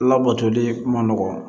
Labatoli kuma nɔgɔn